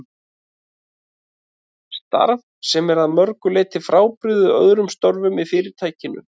Starf sem er að mörgu leyti frábrugðið öðrum störfum í Fyrirtækinu.